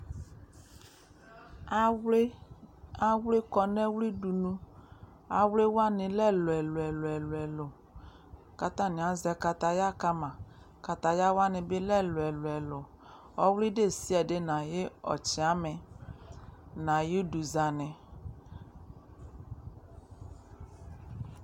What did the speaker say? Awlɩ kɔnʊ ɔwlɩdʊnʊ awlɩwanɩ lɛ ɛlʊɛlʊɛlʊ kʊ atanɩ azɛ kataya kama katayawanɩ bɩ lɛ ɛlʊelʊɛlʊ ɔwlɩ ɛdɩnʊ ɛdɩ nʊ ayʊ ɔtsamɩ nʊ ayʊ ʊdʊzanɩ